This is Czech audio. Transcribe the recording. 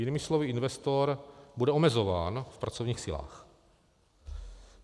Jinými slovy, investor bude omezován v pracovních silách.